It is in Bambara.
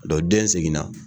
Dɔ den segin na.